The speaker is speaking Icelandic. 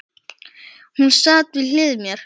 Hún sat við hlið mér.